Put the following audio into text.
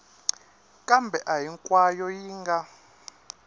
kambe a hinkwayo yi nga